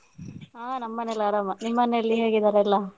ಹಾ ನಮ್ಮನೇಲಿ ಆರಾಮ ನಿಮ್ಮನೇಲಿ ಹೇಗಿದ್ದಾರೆ ಎಲ್ಲ?